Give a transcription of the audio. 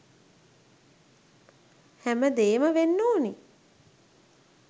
හැමදේම වෙන්න ඕන.